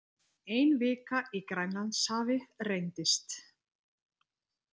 Ein vika í Grænlandshafi reyndist